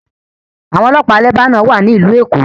Àwọn ọlọ́pàá Lebanon wà ní Ìlú Èkó